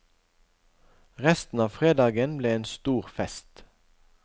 Resten av fredagen ble en stor fest.